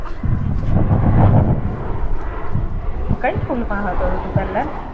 કઈ school માં હતો તો તું પેહલા?